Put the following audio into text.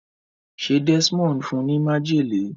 ṣe Desmond fún ní májèlé?